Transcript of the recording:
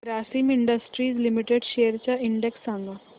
Grasim industries limited shares चा index सांगा